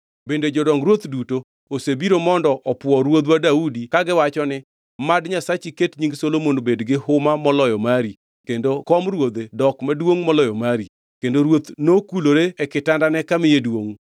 Bende jodong ruoth duto osebiro mondo opwo ruodhwa Daudi kagiwacho ni, ‘Mad Nyasachi ket nying Solomon bed gi huma moloyo mari kendo kom ruodhe dok maduongʼ moloyo mari!’ Kendo ruoth nokulore e kitandane kamiye duongʼ